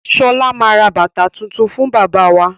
Sọlá máa ra bàtà tuntun fún bàbá wa.